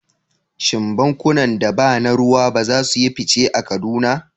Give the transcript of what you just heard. Shin bankunan da ba na ruwa ba za su yi fice a Kaduna?